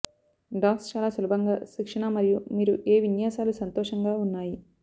dogs చాలా సులభంగా శిక్షణ మరియు మీరు ఏ విన్యాసాలు సంతోషంగా ఉన్నాయి